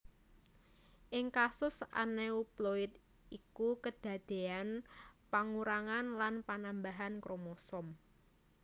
Ing kasus anéuploid iku kedadéyan pangurangan lan panambahan kromosom